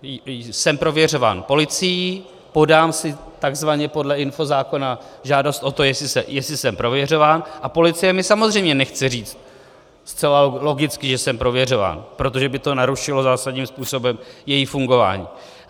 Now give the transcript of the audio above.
Jsem prověřován policií, podám si takzvaně podle infozákona žádost o to, jestli jsem prověřován, a policie mi samozřejmě nechce říct zcela logicky, že jsem prověřován, protože by to narušilo zásadním způsobem její fungování.